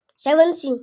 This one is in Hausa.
70